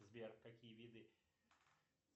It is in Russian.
сбер какие виды